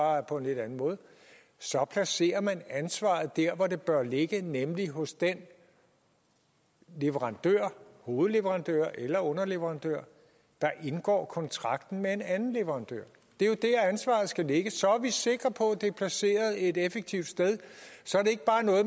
bare på en lidt anden måde så placerer man ansvaret der hvor det bør ligge nemlig hos den leverandør hovedleverandør eller underleverandør der indgår kontrakten med en anden leverandør det er der ansvaret skal ligge så er vi sikre på at det er placeret et effektivt sted så